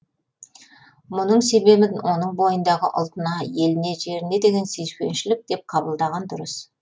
мұның себебін оның бойындағы ұлтына еліне жеріне деген сүйіспеншілік деп қабылдаған дұрыс